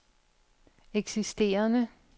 eksisterende